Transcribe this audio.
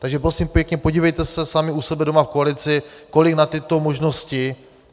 Takže prosím pěkně, podívejte se sami u sebe doma v koalici, kolik na tyto možnosti...